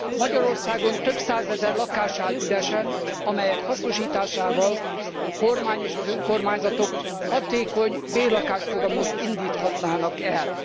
Magyarországon több százezer lakás áll üresen, amelyek hasznosításával a kormány és az önkormányzatok hatékony bérlakásprogramot indíthatnának el.